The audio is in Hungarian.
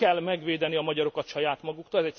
Nem kell megvédeni a magyarokat saját maguktól.